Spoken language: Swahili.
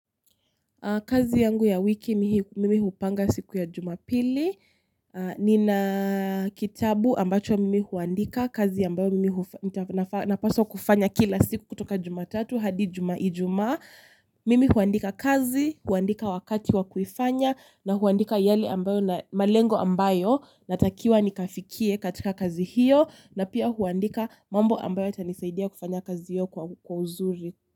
Kazi yangu ya wiki mimi hupanga siku ya Jumapili. Nina kitabu ambacho mimi huandika. Kazi ambayo mimi napaswa kufanya kila siku kutoka Jumatatu hadi Ijumaa mimi huandika kazi, huandika wakati wakuifanya na huandika yale ambayo na malengo ambayo natakiwa nikafikie katika kazi hiyo na pia huandika mambo ambayo itanisaidia kufanya kazi hiyo kwa uzuri.